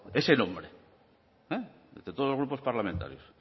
ese nombre entre todos los grupos parlamentarios